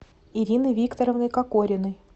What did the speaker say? ирины викторовны кокориной